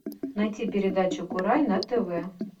найти передачу курай на тв